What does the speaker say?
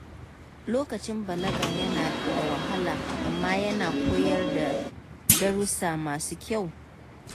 Lokacin balaga yana da wahala, amma yana koyar da darussa masu kyau.